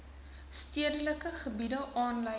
stedelike gebiede aanleiding